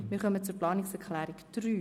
Wir kommen zur Planungserklärung 3.